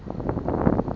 ya ho ba teng ho